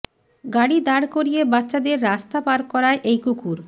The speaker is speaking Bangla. গাড়ি দাঁড় করিয়ে বাচ্চাদের রাস্তা পার করায় এই কুকুর